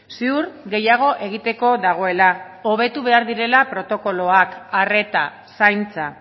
ziur gehiago egiteko dagoela hobetu behar direla protokoloak arreta zaintza